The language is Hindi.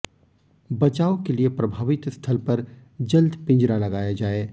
बचाव के लिए प्रभावित स्थल पर जल्द पिंजरा लगाया जाए